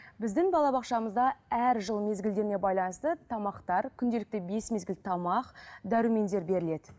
біздің балабақшамызда әр жыл мезгілдеріне байланысты тамақтар күнделікті бес мезгіл тамақ дәрумендер беріледі